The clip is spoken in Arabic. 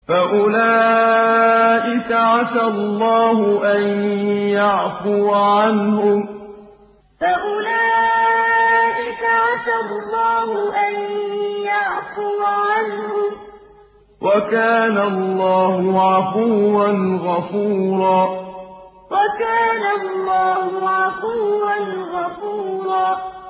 فَأُولَٰئِكَ عَسَى اللَّهُ أَن يَعْفُوَ عَنْهُمْ ۚ وَكَانَ اللَّهُ عَفُوًّا غَفُورًا فَأُولَٰئِكَ عَسَى اللَّهُ أَن يَعْفُوَ عَنْهُمْ ۚ وَكَانَ اللَّهُ عَفُوًّا غَفُورًا